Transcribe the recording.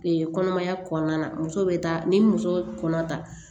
kɔnɔmaya kɔnɔna na muso bɛ taa ni muso kɔnɔ ta